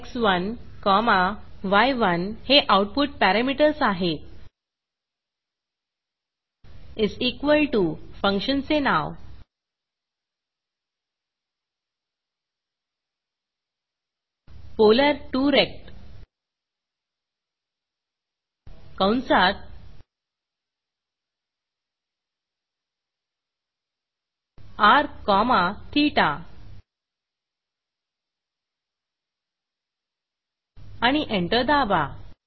एक्स1 comma य1 हे output parameters आहेतis इक्वॉल टीओ फंक्शनचे नाव polar2रेक्ट कंसात र कॉमा ठेता आणि एंटर दाबा